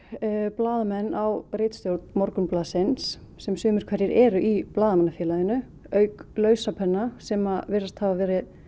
blaðamenn á ritstjórn Morgunblaðsins sem sumir hverjir eru í Blaðamannafélaginu auk sem virðast hafa verið